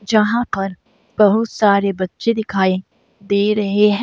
जहाँ पर बहुत सारे बच्चे दिखाई दे रहे हैं।